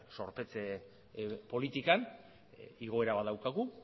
zorpetze politikan igoera bat daukagu